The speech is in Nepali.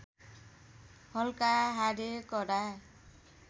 हल्का हाडे कडा